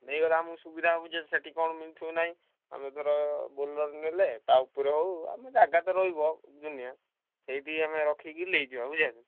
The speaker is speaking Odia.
ନେଇଗଲେ ଆମକୁ ସୁବିଧା ହବ ସେଠୀ କଣ ମିଳୁଥିବ କି ନାହିଁ ଆମେ ଧର ବୋଲର ନେଲେ ଧର ଟା ଉପରେ ହଉ ଆମ ଜାଗା ତ ରହିବ ଦୁନିଆ ଏଇଠି ଆମେ ରଖିକି ନେଇଯିବା ବୁଲିବାକୁ।